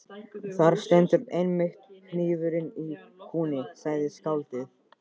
Þar stendur einmitt hnífurinn í kúnni, sagði skáldið.